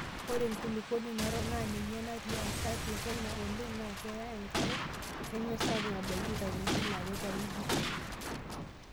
Ore enkulukuoni narok naa ninye nati kati e Kenya oleng' naa keya enkare nemesapuk abaiki katitin are teweiki.